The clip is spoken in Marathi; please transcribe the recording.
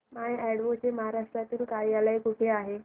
माय अॅडवो चे महाराष्ट्रातील कार्यालय कुठे आहे